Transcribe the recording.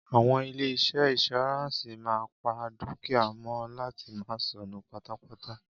Àwọn ilé-iṣẹ́ ìnsùráǹsì máa ń pa dúkìá mọ láti máa sọnù pátápátá.